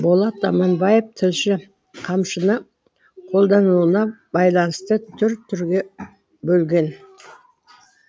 болат аманбаев тілші қамшыны қолданылуына байланысты түр түрге бөлген